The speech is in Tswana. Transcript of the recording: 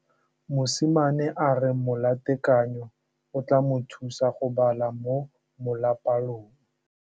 Mosimane a re molatekanyô o tla mo thusa go bala mo molapalong.